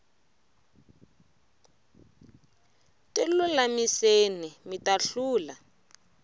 tilulamiseni mita hlula